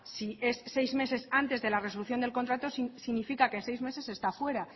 si es seis meses antes de la resolución del contrato significa que seis meses está fuera